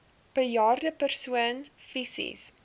bejaarde persoon fisies